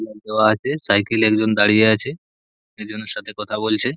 Flag দেওয়া আছে cycle - এ একজন দাঁড়িয়ে আছে । একজনের সাথে কথা বলছে।